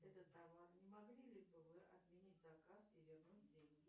этот товар не могли ли бы вы отменить заказ и вернуть деньги